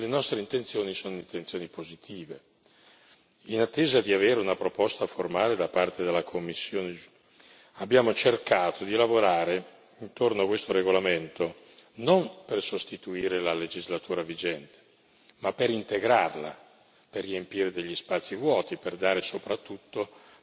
In attesa di avere una proposta formale da parte della Commissione, abbiamo cercato di lavorare intorno a questo regolamento non per sostituire la legislatura vigente, ma per integrarla, per riempire gli spazi vuoti, per dare soprattutto maggior certezza chi poi utilizza questi strumenti.